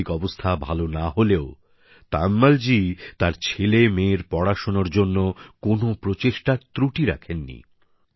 আর্থিক অবস্থা ভালো না হলেও তায়ম্মলজী তার ছেলেমেয়ের পড়াশোনার জন্য কোন প্রচেষ্টার ত্রুটি রাখেনি